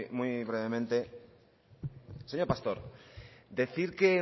muy brevemente señor pastor decir que